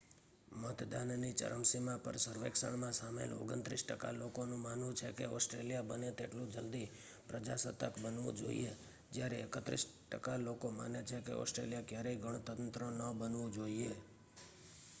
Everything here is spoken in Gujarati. મતદાનની ચરમસીમા પર સર્વેક્ષણમાં સામેલ 29 ટકા લોકો નું માનવું છે કે ઓસ્ટ્રેલિયા બને તેટલું જલદી પ્રજાસત્તાક બનવું જોઈએ, જ્યારે 31 ટકા લોકો માને છે કે ઓસ્ટ્રેલિયા ક્યારેય ગણતંત્ર ન બનવું જોઈએ